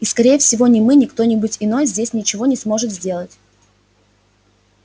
и скорее всего ни мы ни кто-нибудь иной здесь ничего не сможет сделать